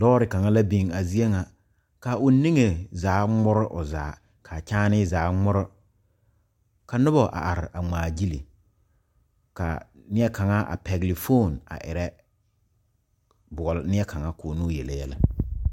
Lɔɔre kaŋa la biŋ a zie ŋa ka o niŋe zaa ŋmore o zaa k,a kyaanee zaa ŋmore ka noba a are a ŋmaagyili ka neɛ kaŋa a pɛgle fone a erɛ boɔle neɛ kaŋa k,o ne o yele yɛlɛ.